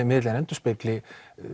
miðillinn endurspegli